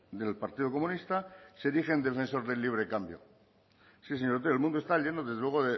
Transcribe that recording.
del partido comunista se rige en defensor del libre cambio sí señor otero el mundo está lleno desde luego